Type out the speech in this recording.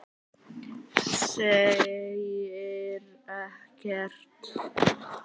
Segir ekkert.